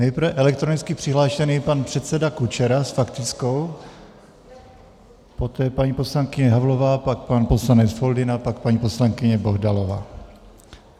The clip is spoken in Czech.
Nejprve elektronicky přihlášený pan předseda Kučera s faktickou, poté paní poslankyně Havlová, pak pan poslanec Foldyna, pak paní poslankyně Bohdalová.